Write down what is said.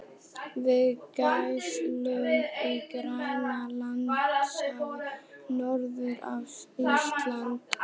við gæslu í Grænlandshafi norður af Íslandi.